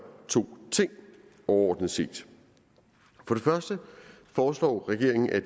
to ting overordnet set for det første foreslår regeringen at